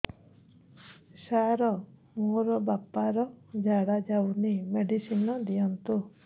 ସାର ମୋର ବାପା ର ଝାଡା ଯାଉନି ମେଡିସିନ ଦିଅନ୍ତୁ